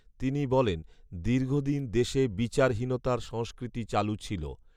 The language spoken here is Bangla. তিনি বলেন, দীর্ঘদিন দেশে বিচারহীনতার সংষ্কৃতি চালু ছিল